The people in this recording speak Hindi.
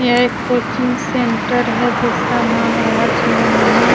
यहा एक कोचिंग सेंटर है जिसका नाम राज मानी --